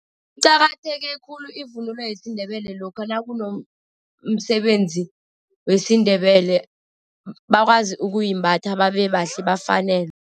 Iqakatheke khulu ivunulo yesiNdebele lokha nakunomsebenzi wesiNdebele, bakwazi ukuyimbatha babe bahlale, bafanelwe.